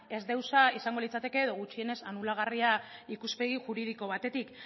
ezdeusa izango litzateke edo gutxienez anulagarria ikuspegi juridiko batetik